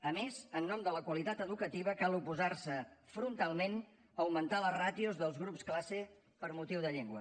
a més en nom de la qualitat educativa cal oposar se frontalment a augmentar les ràtios dels grups classe per motiu de llengua